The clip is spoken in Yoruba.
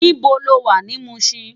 Nibó ló wá ni Mushin?